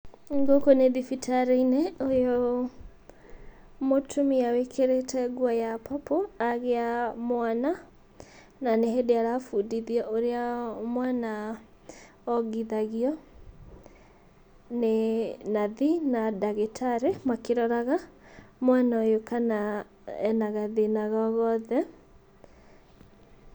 Gũkũ nĩ thibitarĩ-inĩ ũyũ, mũtumia wĩkĩrĩte nguo ya purple agĩa mwana na nĩ hĩndĩ arabundithia ũrĩa mwana ongithagio nĩ nathi na ndagĩtarĩ akĩroraga mwana ũyũ kana ena gathĩna o gothe.